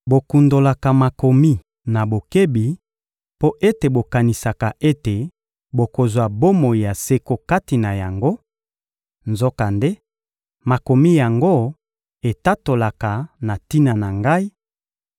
Bokundolaka Makomi na bokebi, mpo ete bokanisaka ete bokozwa bomoi ya seko kati na yango; nzokande, Makomi yango etatolaka na tina na Ngai,